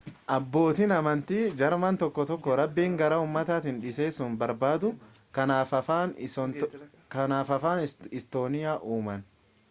abbootiin amantii jarman tokko tokko rabbiin gara ummataatti dhiheessuu barbaadu kanaaf afaan istooniyaa uuman